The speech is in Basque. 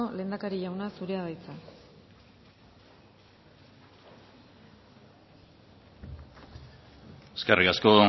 lehendakari jauna zurea da hitza eskerrik asko